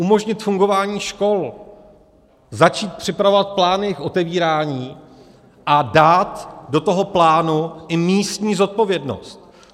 Umožnit fungování škol, začít připravovat plány k otevírání a dát do toho plánu i místní zodpovědnost.